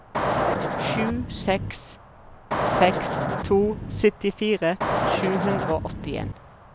sju seks seks to syttifire sju hundre og åttien